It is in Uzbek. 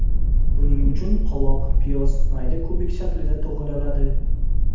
Buning uchun qovoq, piyoz mayda kubik shaklida to‘g‘raladi.